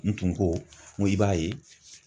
N tun ko, n ko i b'a ye.